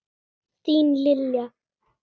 Þín, Lilja.